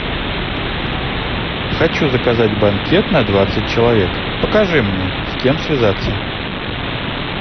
хочу заказать банкет на двадцать человек покажи мне с кем связаться